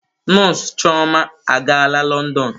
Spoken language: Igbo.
Nọọsụ chioma agaala Lọndọn.